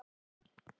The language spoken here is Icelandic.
Alltaf eins!